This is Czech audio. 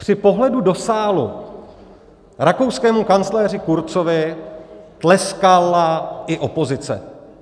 Při pohledu do sálu rakouskému kancléři Kurzovi tleskala i opozice.